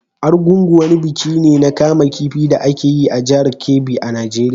Argungu wani biki ne na kama kifi da ake yi a jihar Kebbi a Najeriya.